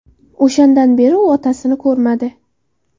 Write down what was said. O‘shandan beri u otasini ko‘rmadi.